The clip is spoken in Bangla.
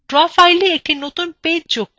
draw filea একটি নতুন পেজ যোগ করুন